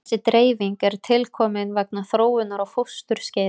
Þessi dreifing er tilkomin vegna þróunar á fósturskeiði.